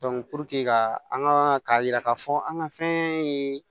ka an ka k'a yira k'a fɔ an ka fɛn ye